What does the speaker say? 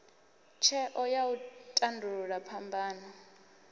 tsheo ya u tandulula phambano